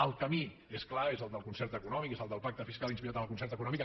el camí és clar és el del concert econòmic és el del pacte fiscal inspirat en el concert econòmic